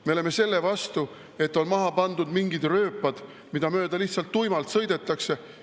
Me oleme selle vastu, et on maha pandud mingid rööpad, mida mööda lihtsalt tuimalt sõidetakse.